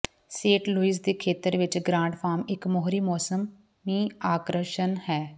Saint Louis ਦੇ ਖੇਤਰ ਵਿਚ ਗ੍ਰਾਂਟ ਫਾਰਮ ਇਕ ਮੋਹਰੀ ਮੌਸਮੀ ਆਕਰਸ਼ਣ ਹੈ